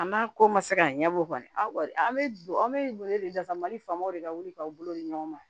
An b'a ko ma se ka ɲɛbɔ o kɔni an bɛ don an bɛ wele wele da mali faamaw de ka wuli k'aw bolo di ɲɔgɔn ma